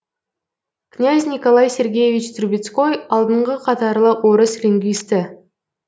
князь николай сергеевич трубецкой алдыңғы қатарлы орыс лингвисті